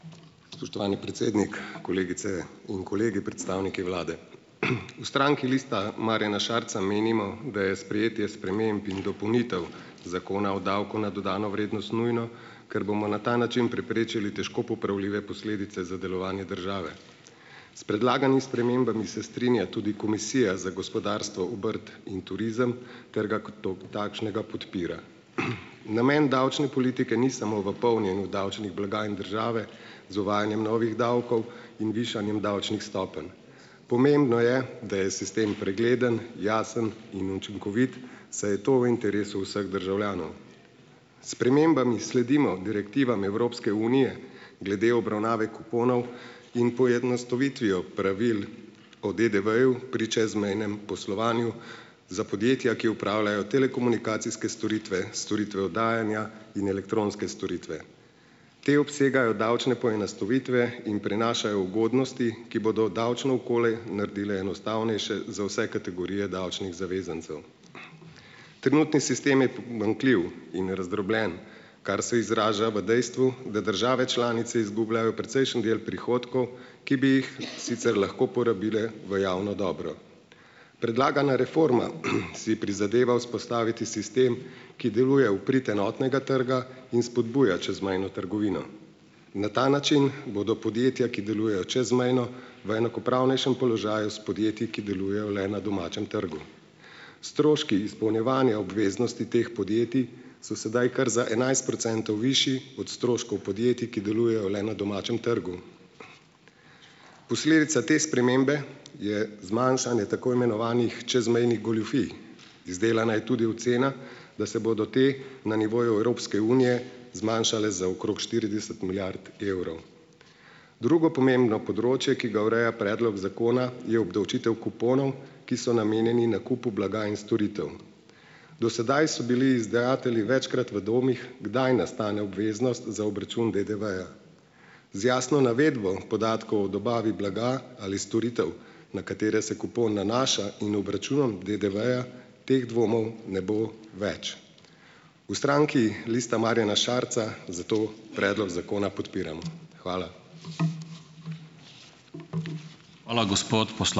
Spoštovani predsednik, kolegice in kolegi, predstavniki vlade. V stranki Lista Marjana Šarca menimo, da je sprejetje sprememb in dopolnitev zakona o davku na dodano vrednost nujno, ker bomo na ta način preprečili težko popravljive posledice za delovanje države. S predlaganimi spremembami se strinja tudi Komisija za gospodarstvo, obrt in turizem, ter ga kot takšnega podpira. Namen davčne politike ni samo v polnjenju davčnih blagajn države z uvajanjem novih davkov in višanjem davčnih stopenj. Pomembno je, da je sistem pregleden, jasen in učinkovit, saj je to v interesu vseh državljanov. S spremembami sledimo direktivam Evropske unije glede obravnave kuponov in poenostavitvijo pravil o DDV-ju pri čezmejnem poslovanju za podjetja, ki opravljajo telekomunikacijske storitve, storitve oddajanja in elektronske storitve. Te obsegajo davčne poenostavitve in prinašajo ugodnosti, ki bodo davčno okolje naredile enostavnejše za vse kategorije davčnih zavezancev. Trenutni sistem je pomanjkljiv in razdrobljen, kar se izraža v dejstvu, da države članice izgubljajo precejšen del prihodkov, ki bi jih sicer lahko porabile v javno dobro. Predlagana reforma, si prizadeva vzpostaviti sistem, ki deluje v prid enotnega trga in spodbuja čezmejno trgovino. Na ta način bodo podjetja, ki delujejo čezmejno, v enakopravnejšem položaju s podjetji, ki delujejo le na domačem trgu. Stroški izpolnjevanja obveznosti teh podjetij so sedaj kar za enajst procentov višji od stroškov podjetij, ki delujejo le na domačem trgu. Posledica te spremembe je zmanjšanje tako imenovanih čezmejnih goljufij. Izdelana je tudi ocena, da se bodo te na nivoju Evropske unije zmanjšale za okrog štirideset milijard evrov. Drugo pomembno področje, ki ga ureja predloga zakona, je obdavčitev kuponov, ki so namenjeni nakupu blaga in storitev. Do sedaj so bili izdajatelji večkrat v dvomih, kdaj nastane obveznost za obračun DDV-ja. Z jasno navedbo podatkov o dobavi blaga ali storitev na katere se kupon nanaša in obračunom DDV-ja teh dvomov ne bo več. V stranki Lista Marjana Šarca zato predlog zakona podpiramo. Hvala.